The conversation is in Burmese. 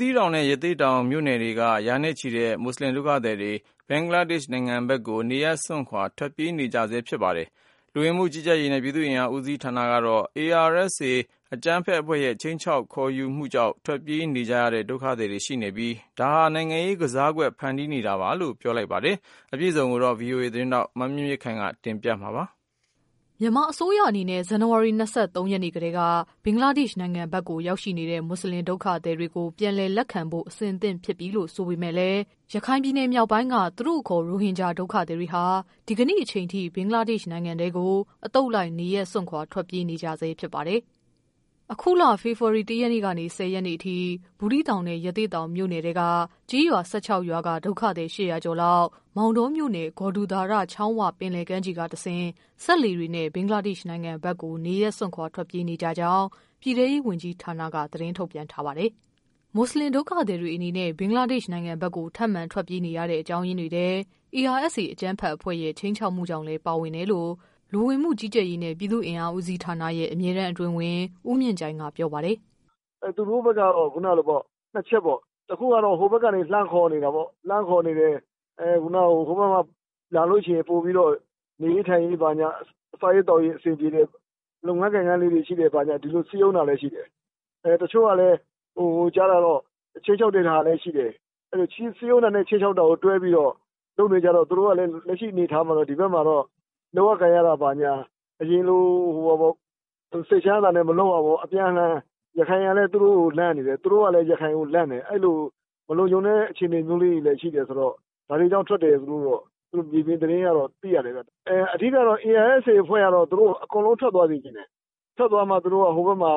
သီးတောင်နဲ့ ရသေ့တောင်မြို့နယ်ထဲက ရာနဲ့ချီတဲ့ မွတ်ဆလင်ဒုက္ခသည်တွေ ဘင်္ဂလားဒေ့ရှ် နိုင်ငံဘက်ကို နေရပ်စွန့်ခွာ ထွက်ပြေးနေကြဆဲ ဖြစ်ပါတယ်။ လူဝင်မှုကြီးကြပ်ရေးနဲ့ ပြည်သူ့အင်အား ဦးစီးဌာနကတော့ ARSA အကြမ်းဖက်အဖွဲ့ရဲ့ ခြိမ်းခြောက်မှု ခေါ်ယူမှုကြောင့် ထွက်ပြေးနေကြရတဲ့ ဒုက္ခသည်တွေရှိနေပြီး ဒါဟာ နိုင်ငံရေးကစားကွက် ဖန်တီးနေတာလို့ ပြောလိုက်ပါတယ်။ အပြည့် အစုံကိုတော့ ဗွီအိုအေ မြန်မာပိုင်း သတင်းထောက် မမြင့်မြင့်ခိုင်က တင်ပြပေးပါမယ်။ မြန်မာအစိုးရအနေနဲ့ ဇန်နဝါရီ ၂၃ရက်နေ့ကတည်း ဘင်္ဂလားဒေ့ရှ်နိုင်ငံဘက်ကို ရောက်ရှိနေတဲ့ မွတ်ဆလင် ဒုက္ခသည်တွေကို ပြန်လည်လက်ခံဖို့ အဆင်သင့်ဖြစ်ပြီလို့ ဆိုပေမယ့်လည်း ရခိုင်ပြည်နယ် မြောက်ပိုင်းက သူတို့အခေါ် ရိုဟင်ဂျာ ဒုက္ခသည်တွေဟာ ဒီကနေ့ချိန်အထိ ဘင်္ဂလားဒေ့ရှ်နိုင်ငံထဲကို အသုတ်လိုက် နေရပ်စွန့်ခွာ ထွက်ပြေးနေကြဆဲ ဖြစ်ပါတယ်။ အခုလ ဖေဖော်ဝါရီ ၁ရက်နေ့ကနေ ၁၀ရက်နေ့အထိ ဘူးသီးတောင်နဲ့ ရသေ့တောင် မြို့နယ် ထဲကနေ ကျေးရွာ ၁၆ရွာက ဒုက္ခသည် ၈၀၀ ကျော်လောက် မောင်တောမြို့နယ် ဂေါ်ဒူသာရ ချောင်းဝ ပင်လယ်ကမ်းခြေကတဆင့် စက်လှေတွေနဲ့ ဘင်္ဂလားဒေ့ရှ် နိုင်ငံဘက်ကို နေရပ်စွန့်ခွာ ထွက်ပြေးနေကြ ကြောင်း ပြည်ထဲရေး ဝန်ကြီးဌာနက သတင်းထုတ်ပြန်ထားပါတယ်။ မွတ်ဆလင် ဒုက္ခသည်တွေ အနေနဲ့ ဘင်္ဂလားဒေ့ရှ် နိုင်ငံဘက်ကို ထပ်မံ ထွက်ပြေးနေရတဲ့ အကြောင်း ရင်းတွေထဲ ARSA အကြမ်းဖက်အဖွဲ့ရဲ့ခြိမ်းခြောက်မှုကြောင့်လည်း ပါဝင်တယ်လို့ လူဝင်မှု ကြီးကြပ်ရေးနဲ့ ပြည်သူ့အင်အား ဦးစီးဌာနရဲ့ အမြဲတမ်း အတွင်းဝန် ဦးမြင့်ကြိုင်က ပြောပါတယ်။ "သူတို့ကတော့ ၂ ချက်ပေါ့ တခုကတော့ ဟိုဘက်ကနေ လှမ်းခေါ်နေတယ်။ ဟိုဘက်မှာ လာလို့ရှိရင် ပိုပြီးတော့ နေရေးထိုင်ရေး စားရေးသောက်ရေး အဆင်ပြေမယ်။ လုပ်ငန်းလေးတွေရှိတယ် ဆိုပြီးတော့ စည်းရုံးတာလည်း ရှိတယ်။ တချို့ကလည်း ကြားတာကတော့ ခြိမ်းခြောက်တဲ့ဟာတွေလည်း ရှိတယ်။စည်းရုံးတာနဲ့ ခြိမ်းခြောက်တာတွဲပြီးတော့ လုပ်နေကြတော့ သူတို့ကလည်း လက်ရှိအနေအထားမှာတော့ ဒီဘက်မှာတော့ လုပ်ရကိုင်ရတာ အရင်လို စိတ်ချမ်းချမ်းသာသာနဲ့ မလုပ်ရဘူးပေါ့ ။ ရခိုင်ကလည်း သူတို့ကိုလန့်နေတယ်၊ သူတို့ကလည်း ရခိုင်ကိုလန့်တယ် အဲဒီလို မလုံခြုံတဲ့ အခြေအနေမျိုးလေးတွေလည်း ရှိတယ်ဆိုတော့ ဒါတွေကြောင့်ထွက်တယ်ဆိုပြီး မြေပြင်သတင်းအရတော့ သိရတယ်ခင်ဗျ။ အဓိကတော့ ARSA အဖွဲ့ကတော့ သူတို့ကို အကုန်လုံးထွက်သွားစေချင်တယ်။ ထွက်သွားမှ ဟိုဘက်မှာ